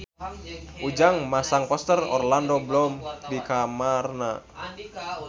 Ujang masang poster Orlando Bloom di kamarna